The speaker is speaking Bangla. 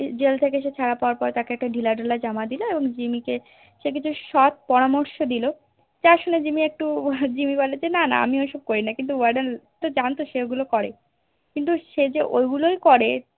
Jail থেকে সে ছাড়া পাওয়ার পর তাকে একটা ঢিলা ঢালা জামা দিলো এবং জিম্মি কে সে কিছু সৎ পরামর্শ দিলো তা শুনে জিম্মি একটু জিম্মি বলে যে না না আমি ওসব করিনা কিন্তু Warden জানতো সে ওগুলো করে কিন্তু সে যে ঐগুলোই করে